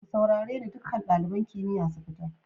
Ku saurare ni, dukan dalibain kimiyya su fita!